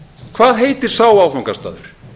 hvað heitir sá áfangastaður